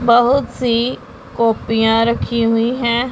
बहुत सी कॉपियां रखी हुई हैं।